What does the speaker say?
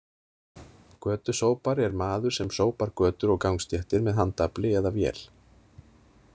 Götusópari er maður sem sópar götur og gangstéttir með handafli eða vél.